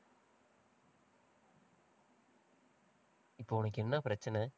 இப்போ, உனக்கு என்ன பிரச்சனை